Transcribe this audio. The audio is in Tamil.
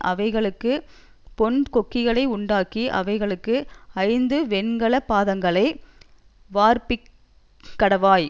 அவைகளுக்குப் பொன் கொக்கிகளை உண்டாக்கி அவைகளுக்கு ஐந்து வெண்கல பாதங்களை வார்ப்பிக் கடவாய்